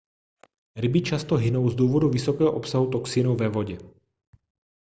ryby často hynou z důvodu vysokého obsahu toxinů ve vodě